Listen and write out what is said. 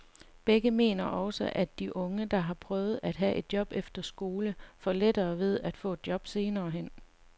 Begge mener også, at de unge, der har prøvet at have et job efter skole, får lettere ved at få et job senere hen.